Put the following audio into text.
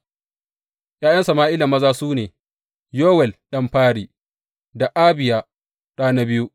’Ya’yan Sama’ila maza su ne, Yowel ɗan fari da Abiya ɗa na biyu.